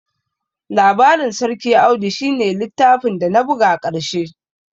Labarin sarki Audu shi ne littafin dana buga ƙarshe